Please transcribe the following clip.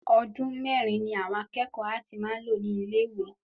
Ọdún mẹ́rin ni àwọn akẹ́kọ̀ọ́ áàtì máa n lò ní ilé ìwé